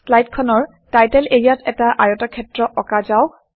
শ্লাইডখনৰ title এৰিয়াত এটা আয়তক্ষেত্ৰ অঁকা যাওক